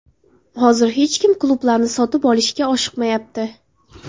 Hozir hech kim klublarni sotib olishga oshiqmayapti.